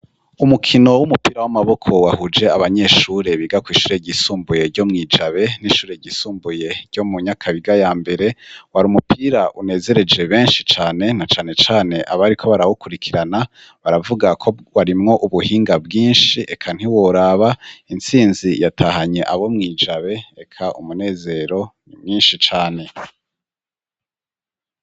Umukino w'umupira w'amaboko wahuje abanyeshure biga kw'ishure ryisumbuye ryo mw'i Jabe n'ishure ryisumbuye ryo mu Nyakabiga ya mbere wari umupira unezereje benshi cane na canecane abariko barawukurikirana, baravuga ko warimwo ubuhinga bwinshi reka ntiworaba. Intsinzi yatahanye abo mw'i Jabe, reka umunezero ni mwinshi cane.